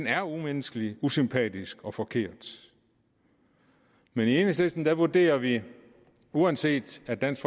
er umenneskelig usympatisk og forkert men i enhedslisten vurderer vi det uanset at dansk